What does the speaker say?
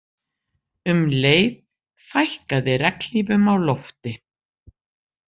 Um leið fækkaði regnhlífum á lofti